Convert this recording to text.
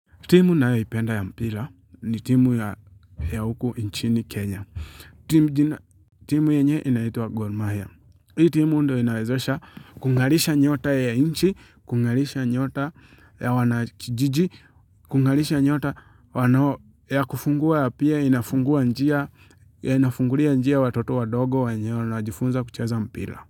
Timu ninayoipenda ya mpira ni timu ya huku inchini Kenya. Timu yenye inaitwa Gor mahia. Hii timu ndo inawezesha kungalisha nyota ya inchi, kungalisha nyota ya wanakijiji, kungalisha nyota ya kufungua pia yanafungulia njia watoto wadogo wenye wanajifunza kucheza mpira.